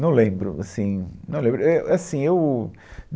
Não lembro. Assim, não lembro. É, ãh, Assim, eu